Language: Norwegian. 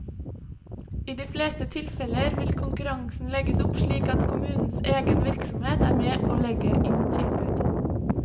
I de fleste tilfeller vil konkurransen legges opp slik at kommunens egen virksomhet er med og legger inn tilbud.